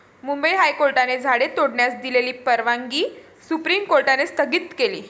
मुंबई हायकोर्टाने झाडे तोडण्यास दिलेली परवागनी सुप्रीम कोर्टाने स्थगित केली.